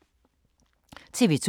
TV 2